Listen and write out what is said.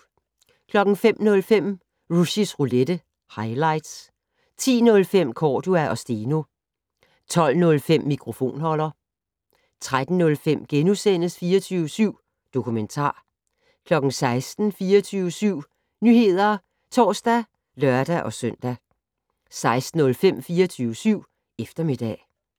05:05: Rushys Roulette - highlights 10:05: Cordua & Steno 12:05: Mikrofonholder 13:05: 24syv Dokumentar * 16:00: 24syv Nyheder (tor og lør-søn) 16:05: 24syv Eftermiddag